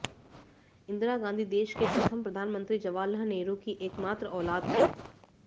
इंदिरा गांधी देश के प्रथम प्रधानमंत्री जवाहरलाल नेहरू की एक मात्र औलाद थीं